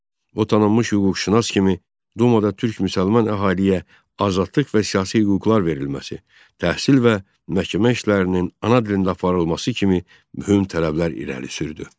O tanınmış hüquqşünas kimi dumada Türk müsəlman əhaliyə azadlıq və siyasi hüquqlar verilməsi, təhsil və məhkəmə işlərinin ana dilində aparılması kimi mühüm tələblər irəli sürdü.